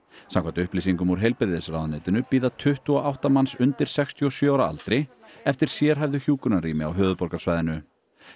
samkvæmt upplýsingum úr heilbrigðisráðuneytinu bíða tuttugu og átta manns undir sextíu og sjö ára aldri eftir sérhæfðu hjúkrunarrými á höfuðborgarsvæðinu